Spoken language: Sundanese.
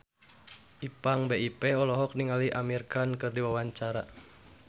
Ipank BIP olohok ningali Amir Khan keur diwawancara